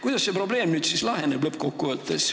Kuidas see probleem nüüd lõppkokkuvõttes laheneb?